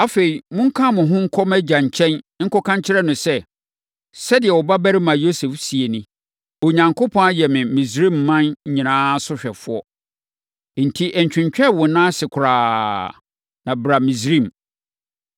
Afei, monka mo ho nkɔ mʼagya nkyɛn nkɔka nkyerɛ no sɛ, ‘Sɛdeɛ wo babarima Yosef seɛ ni, Onyankopɔn ayɛ me Misraiman nyinaa sohwɛfoɔ. Enti, ntwentwɛn wo nan ase koraa, na bra Misraim!